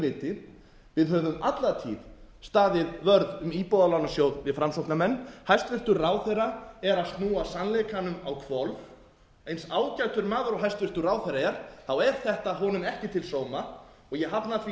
viti við höfum alla tíð staðið vörð um íbúðalánasjóð við framsóknarmenn hæstvirtur ráðherra er að snúa sannleikanum á hvolf eins ágætur maður og hæstvirtur ráðherra er er þetta honum ekki til sóma og ég hafna því